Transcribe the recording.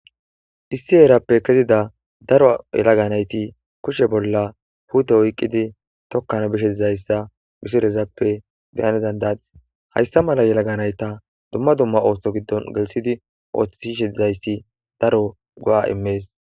issi eerappe kezida daro yelaganayti kushe bolla huute oyqqidi tokkan bishe dizayssa misirezappe beyanedandati hayssa mala yelaganayta dumma dumma oothto giddon gelsidi ooththishishe dizayssi daro go7a immees